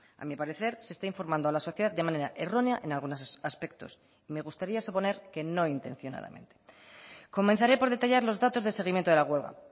a mi parecer se está informando a la sociedad de manera errónea en algunos aspectos me gustaría suponer que no intencionadamente comenzaré por detallar los datos de seguimiento de la huelga